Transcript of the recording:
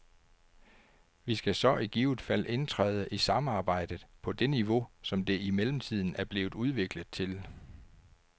Vi skal så i givet fald indtræde i samarbejdet på det niveau, som det i mellemtiden er blevet udviklet til.